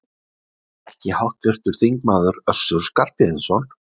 Ekki háttvirtur þingmaður Össur Skarphéðinsson?